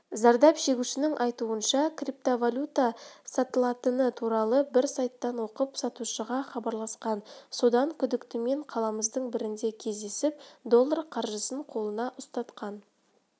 зардап шегушінің айтуынша криптовалюта сатылатыны туралы бір сайттан оқып сатушыға хабарласқан содан күдіктімен қаламыздың бірінде кездесіп доллар қаржысын қолына ұстатқан